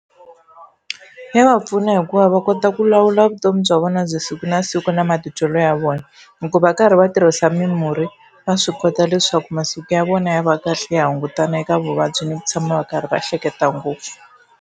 Ya va pfuna hikuva va kota ku lawula vutomi bya vona bya siku na siku na matitwelo ya vona, hikuva va karhi va tirhisa mimurhi va swi kota leswaku masiku ya vona ya va kahle ya hungutana eka vuvabyi ni ku tshama va karhi va hleketa ngopfu.